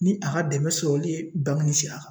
Ni a ka dɛmɛ sɔrɔli ye bangeni sira kan